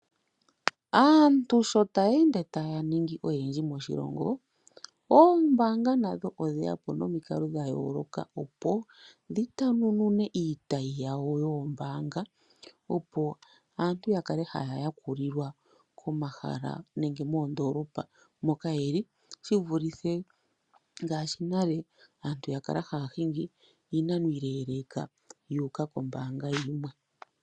Aantu sho taya ende taya ningi oyendji moshilongo, oombaanga nadho odheya po nomikalo dhayooloka opo dhita nunune iitayi yayo yoombanga opo aantu yakale haya yakulilwa komahala nenge moondolopa moka yeli shivulithe ngaashi nale ya kala haya hingi iinano iileleka yuuka kombaanga yimwe.